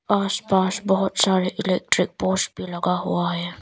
आस पास बहोत सारे इलेक्ट्रिक पोस्ट भी लगा हुआ है।